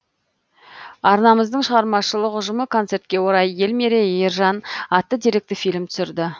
арнамыздың шығармашылық ұжымы концертке орай ел мерейі ержан атты деректі фильм түсірді